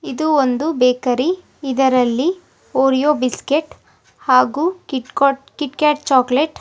ಇದು ಒಂದು ಬೇಕರಿ ಇದರಲ್ಲಿ ಒರಿಯೋ ಬಿಸ್ಕೆಟ್ ಹಾಗೂ KitKat KitKat chocolate --